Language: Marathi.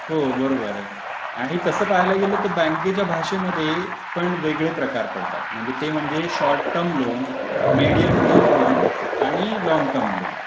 हो बरोबर आहे आणि तसं पाहायला गेलं तर बँकेच्या भाषेमध्ये पण वेगळे प्रकार पडतात म्हणजे ते म्हणजे short term loan medium term loan आणि लॉन्ग टर्म लोन.